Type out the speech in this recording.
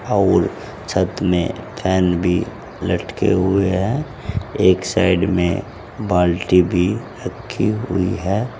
और छत में फैन भी लटके हुए हैं एक साइड में बाल्टी भी रखी हुई है।